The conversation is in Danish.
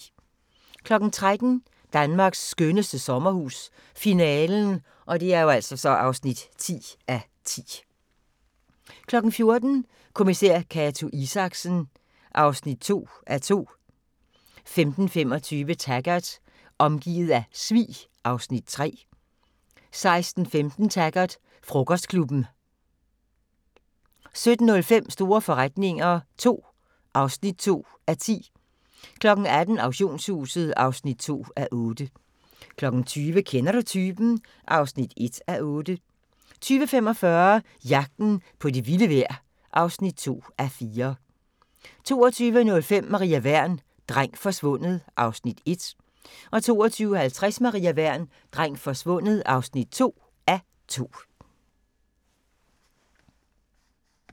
13:00: Danmarks skønneste sommerhus - finalen (10:10) 14:00: Kommissær Cato Isaksen (2:2) 15:25: Taggart: Omgivet af svig (Afs. 3) 16:15: Taggart: Frokostklubben 17:05: Store forretninger II (2:10) 18:00: Auktionshuset (2:8) 20:00: Kender du typen? (1:8) 20:45: Jagten på det vilde vejr (2:4) 22:05: Maria Wern: Dreng forsvundet (1:2) 22:50: Maria Wern: Dreng forsvundet (2:2)